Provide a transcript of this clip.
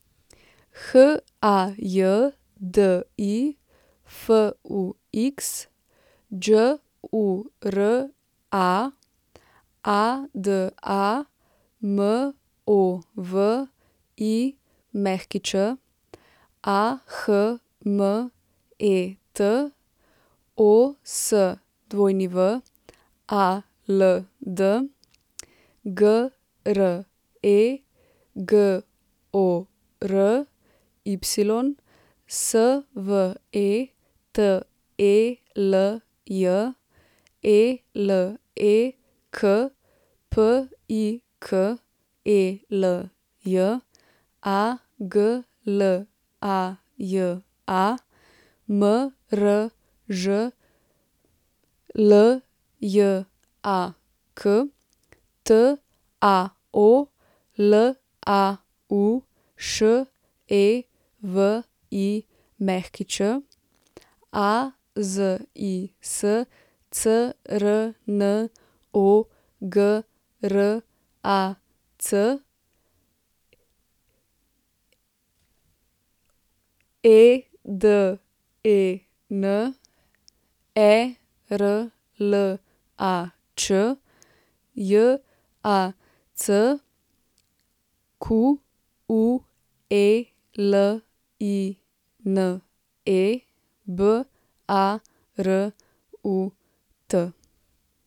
Hajdi Fux, Đura Adamović, Ahmet Oswald, Gregory Svetelj, Elek Pikelj, Aglaja Mržljak, Tao Laušević, Azis Crnogorac, Eden Erlač, Jacqueline Barut.